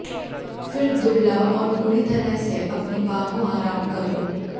फिर दुबला और पूरी तरह से अपनी बाहों आराम करो